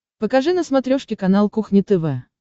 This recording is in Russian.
покажи на смотрешке канал кухня тв